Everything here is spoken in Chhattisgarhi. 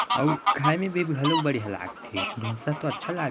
आव खाये मैं बढ़िया लाग थे ढोसा तो अच्छा लगथे--